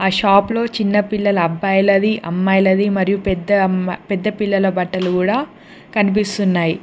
Shop లో చిన్నపిల్లల అబ్బాయిలది అమ్మాయిలది మరియు పెద్ద పిల్లల బట్టలు కూడా కనిపిస్తున్నాయి.